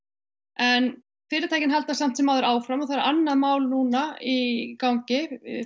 en fyrirtækin halda samt sem áður áfram og það er annað mál núna í gangi